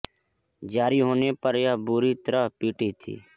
जारी होने पर ये बुरी तरह पिटी थी